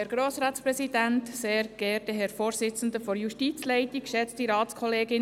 Kommissionspräsidentin der JuKo.